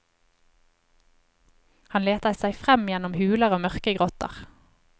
Han leter seg frem gjennom huler og mørke grotter.